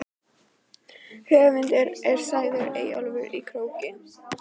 Höfundur er sagður Eyjólfur í Króki.